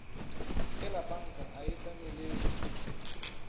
e lepanka a e tlemelele